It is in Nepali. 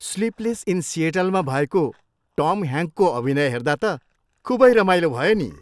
स्लिपलेस इन सिएटल मा भएको टम ह्याङ्कको अभिनय हेर्दा त खुबै रमाइलो भयो नि।